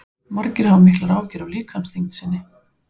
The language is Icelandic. margir hafa miklar áhyggjur af líkamsþyngd sinni